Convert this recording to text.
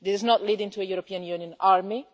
This is not leading to a European Union army.